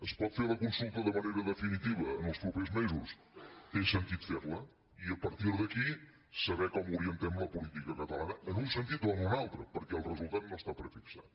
es pot fer la consulta de manera definitiva els propers mesos té sentit fer la i a partir d’aquí saber com orientem la política catalana en un sentit o en un altre perquè el resultat no està prefixat